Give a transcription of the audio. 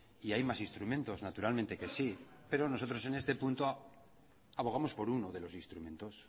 y hay más instrumentos naturalmente que sí pero nosotros en este punto abogamos por uno de los instrumentos